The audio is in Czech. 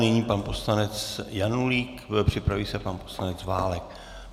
Nyní pan poslanec Janulík, připraví se pan poslanec Válek.